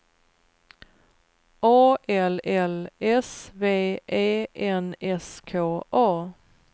A L L S V E N S K A